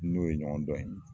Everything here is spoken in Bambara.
N n'o ye ɲɔgɔn dɔn ye